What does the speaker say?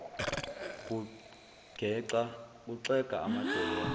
kuxega amadolo wambuka